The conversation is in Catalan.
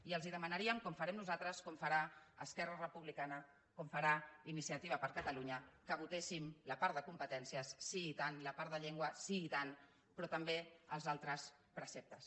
i els demanaríem com farem nosaltres com farà esquerra republicana com farà iniciativa per catalunya que votessin la part de competències sí i tant la part de llengua sí i tant però també els altres preceptes